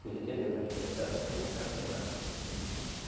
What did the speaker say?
Por isso que é bom a gente entrar no meio para capinar.